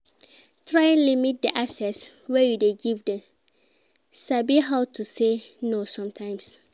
Try limit di access wey you de give dem, sabi how to say no sometimes